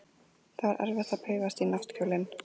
Það var erfitt að paufast í náttkjólinn.